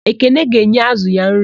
Ekene ga-enye ázụ̀ ya nri.